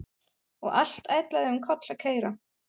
Og allt ætlaði um koll að keyra.